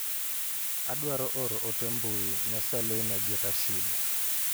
Adwaro oro ote mbui ne Selina gi Rashid.